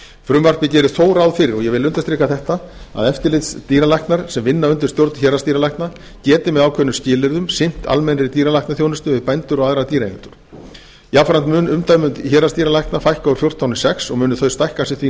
frumvarpið gerir þó ráð fyrir og ég vil undirstrika þetta að eftirlitsdýralæknar sem vinna undir stjórn héraðsdýralækna geti með ákveðnum skilyrðum sinnt almennri dýralæknaþjónustu við bændur og aðra dýraeigendur jafnframt mun umdæmum héraðsdýralækna fækka úr fjórtán í sex og munu þau stækka sem því